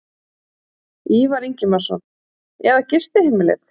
Ívar Ingimarsson: Eða gistiheimilið?